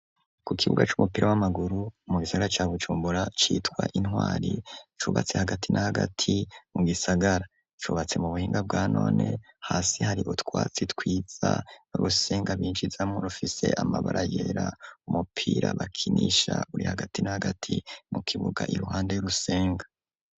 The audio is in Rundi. Ku kibuga c'umupira w'amaguru mu gisagara ca Bujumbura citwa Intwari, cubatse hagati na hagati mu gisagara, cubatse mu buhinga bwa none, hasi hari utwatsi twiza, n'urusenga binjizamwo rufise amabara yera, umupira bakinisha uri hagati na hagati mu kibuga iruuhande y'urusenga.